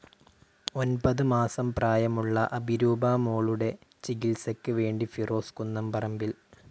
ഒൻപത് മാസം പ്രായമുള്ള അഭിരൂപ മോളുടെ ചികിത്സയ്ക്ക് വേണ്ടി ഫിറോസ് കുന്നംപറമ്പിൽ